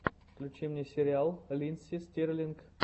включи мне сериал линдси стирлинг